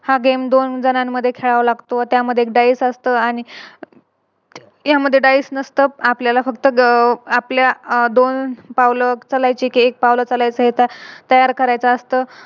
हा Game दोन जणांमध्ये खेळावं लागतो व त्यामध्ये एक Dice असतो आणि त्यामध्ये Dice नसतो. आपल्याला फक्त अं आपल्या दोन पावलं चालायचे कि एक पावलं चालायचे तयार करायचा असतो